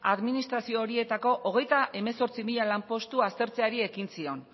administrazio horietako hogeita hemezortzi mila lanpostu aztertzeari ekin zion